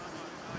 Hara gedirsən?